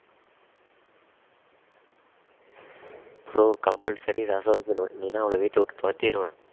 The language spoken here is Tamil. bro compulsory ரசம் வைக்கணும் இல்லனா அவளை வீட்டை விட்டு துரத்திடுவேன்